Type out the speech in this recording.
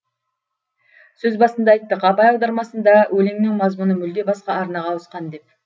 сөз басында айттық абай аудармасында өлеңнің мазмұны мүлде басқа арнаға ауысқан деп